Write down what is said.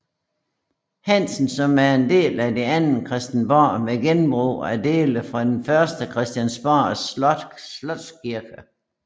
Hansen som en del af det andet Christiansborg med genbrug af dele fra det første Christiansborgs slotskirke